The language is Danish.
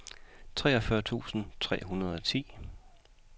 treogfyrre tusind tre hundrede og ti